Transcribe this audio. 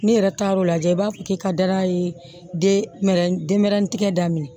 N'i yɛrɛ taara o lajɛ i b'a fɔ k'i ka dara ye de denmɛrɛnin tigɛ daminɛ